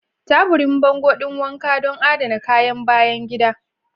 Taburin bango ɗin wanka don adana kayan bayan gida.